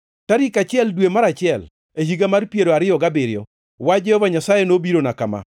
Tarik achiel, dwe mar achiel, e higa mar piero ariyo gabiriyo, wach Jehova Nyasaye nobirana kama: